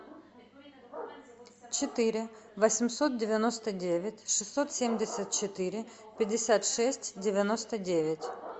четыре восемьсот девяносто девять шестьсот семьдесят четыре пятьдесят шесть девяносто девять